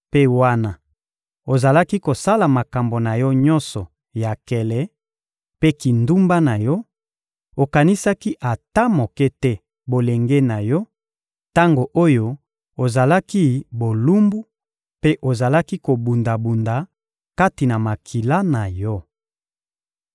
Mpe wana ozalaki kosala makambo na yo nyonso ya nkele mpe kindumba na yo, okanisaki ata moke te bolenge na yo: tango oyo ozalaki bolumbu mpe ozalaki kobunda-bunda kati na makila na yo.